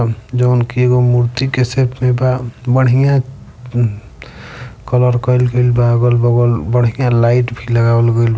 उनके वो मूर्ति बढ़िया अ कलर कईल गइल बा| अगल बगल बढ़िया लाइट भी लगावल गइल बा एमे --